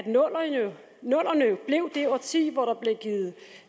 nullerne jo blev det årti hvor der blev givet